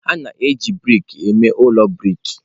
A na-eji brik eme ụlọ brik.